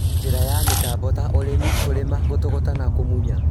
Njĩra ya mĩtambo ta ũrĩmi, kũrĩma, gũtũgũta na kũmunya